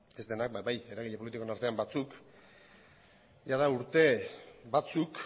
ez denak baina bai eragile politikoen artean batzuk jada urte batzuk